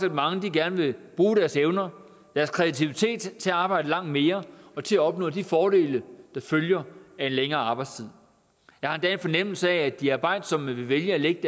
at mange gerne vil bruge deres evner og deres kreativitet til at arbejde langt mere og til at opnå de fordele der følger af en længere arbejdstid jeg har endda en fornemmelse af at de arbejdsomme vil vælge at lægge